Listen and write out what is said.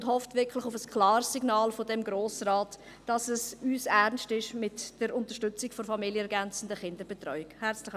Sie hofft auf ein klares Signal dieses Grossen Rates, dahingehend, dass es ihm mit der Unterstützung der familienergänzenden Kinderbetreuung ernst ist.